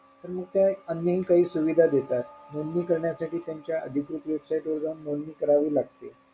तर मग ते अन्य हि काही सुविधा देतात नोंदणी करण्या साठी त्यांच्या अधिकृत website वर जाऊन नोंदणी करावी लागते.